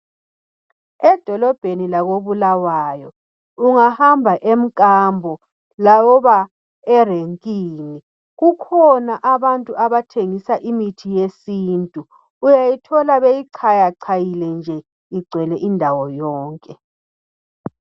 Edolobheni lako Bulawayo, ungahamba emkambo loba Erenkini kukhona abantu abathengisa imithi yesintu. Uyayithola beyichayachayile nje igcwele indawo yonke.